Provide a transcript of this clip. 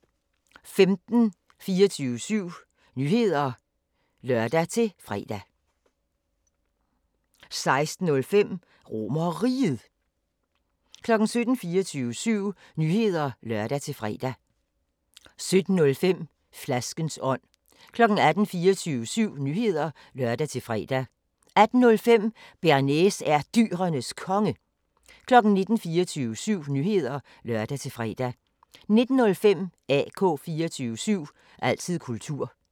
15:00: 24syv Nyheder (lør-fre) 15:05: 24 Spørgsmål til Professoren 16:00: 24syv Nyheder (lør-fre) 16:05: RomerRiget 17:00: 24syv Nyheder (lør-fre) 17:05: Flaskens ånd 18:00: 24syv Nyheder (lør-fre) 18:05: Bearnaise er Dyrenes Konge 19:00: 24syv Nyheder (lør-fre) 19:05: AK 24syv – altid kultur